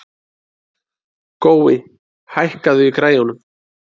Gói, hækkaðu í græjunum.